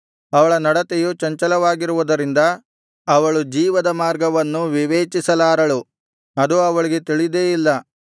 ಅವಳ ನಡತೆಯು ಚಂಚಲವಾಗಿರುವುದರಿಂದ ಅವಳು ಜೀವದ ಮಾರ್ಗವನ್ನು ವಿವೇಚಿಸಲಾರಳು ಅದು ಅವಳಿಗೆ ತಿಳಿದೇ ಇಲ್ಲ